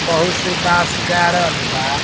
बहुत सी बांस गाड़ल बा।